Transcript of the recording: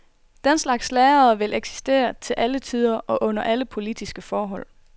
Den slags lærere vil eksistere til alle tider og under alle politiske forhold.